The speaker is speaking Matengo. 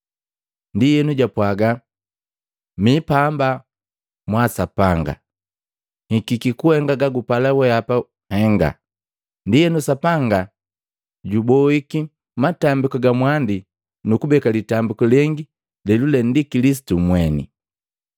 Ndienu japwaga, “Mi pamba mwaa Sapanga, nhikiki kuhenga gagupala wehapa nhenga.” Ndienu Sapanga juboiki matambiku ga mwandi nu kubeka litambiku lengi lelule ndi Kilisitu mweni.